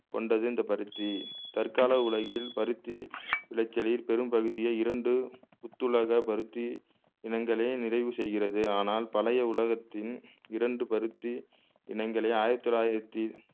கொண்டது இந்த பருத்தி தற்கால உலகில் பருத்தி விளைச்சளில் பெரும்பகுதியை இரண்டு புத்துலக பருத்தி இனங்களே நிறைவு செய்கிறது ஆனால் பழைய உலகத்தின் இரண்டு பருத்தி இனங்களை ஆயிரத்தி தொள்ளாயிரத்தி